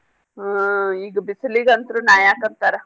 ಹಾ ಈಗ ಬಿಸ್ಲೀಗ ಅಂತ್ರು ನಾ ಯಾಕ ಅಂತಾರ.